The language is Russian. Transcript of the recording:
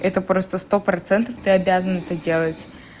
это просто сто процентов ты обязан это делать